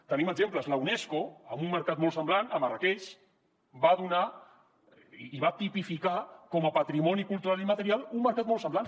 en tenim exemples la unesco en un mercat molt semblant a marràqueix va tipificar com a patrimoni cultural i immaterial un mercat molt semblant